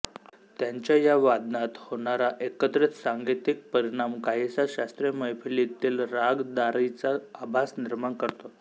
त्यांच्या या वादनात होणारा एकत्रित सांगीतिक परिणाम काहीसा शास्त्रीय मैफलीतील रागदारीचा आभास निर्माण करतो